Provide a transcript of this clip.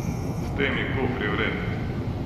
S temi kufri vred.